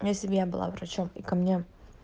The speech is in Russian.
я себе была врачом и ко мне